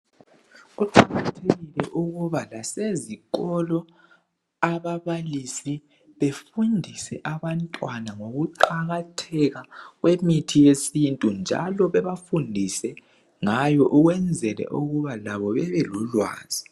Kuqakathekile ukuba lasezikolo ababalisi befundise abantwana ngokuqakatheka kwemithi yesintu njalo bebafundise ngayo ukwenzele ukuba labo bebe lolwazi.